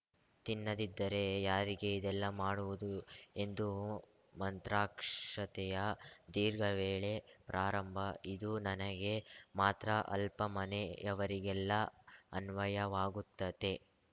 ತಿನ್ನದಿದ್ದರೆ ಯಾರಿಗೆ ಇದೆಲ್ಲ ಮಾಡುವುದು ಎಂದು ಮಂತ್ರಾಕ್ಷತೆಯ ದೀರ್ಘವೇಳೆ ಪ್ರಾರಂಭ ಇದು ನನಗೆ ಮಾತ್ರ ಅಲ್ಪ ಮನೆಯವರಿಗೆಲ್ಲಾ ಅನ್ವಯವಾಗುತ್ತದೆ